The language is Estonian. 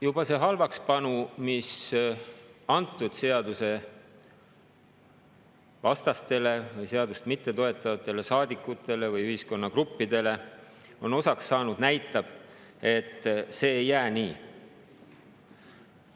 Juba see halvakspanu, mis antud seaduse vastastele, seadust mittetoetavatele saadikutele või ühiskonnagruppidele on osaks saanud, näitab, et see ei jää nii.